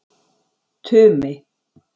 Tumi